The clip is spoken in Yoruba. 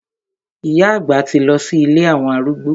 Ìyá àgbà ti lọ sí ilé àwọn arúgbó.